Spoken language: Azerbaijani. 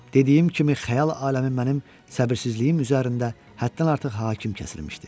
Dediyim kimi xəyal aləmi mənim səbirsizliyim üzərində həddən artıq hakim kəsilmişdi.